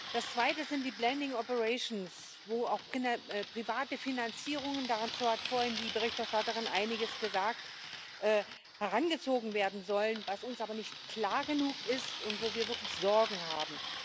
Das Zweite sind die wo auch private Finanzierungen dazu hat vorhin die Berichterstatterin Einiges gesagt herangezogen werden sollen, was uns aber nicht klar genug ist und wo wir wirklich Sorgen haben.